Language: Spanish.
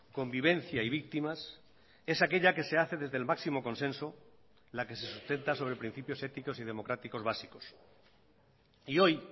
convivencia y víctimas es aquella que se hace desde el máximo consenso la que se sustenta sobre principios éticos y democráticos básicos y hoy